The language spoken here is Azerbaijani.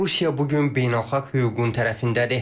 Rusiya bu gün beynəlxalq hüququn tərəfindədir.